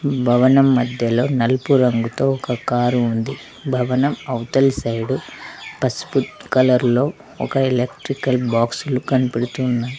భవనం మద్యలో నలుపు రంగుతో ఒక కార్ ఉంది భవనం అవతల సైడు పసుపు కలర్ లో ఒక ఎలెట్రికల్ బాక్సు లు కనబడుతు ఉన్నాయి.